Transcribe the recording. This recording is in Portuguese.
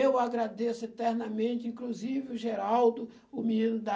Eu agradeço eternamente, inclusive, o Geraldo, o menino da...